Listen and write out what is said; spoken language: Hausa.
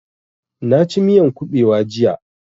Na ci miyan ƙubewa jiya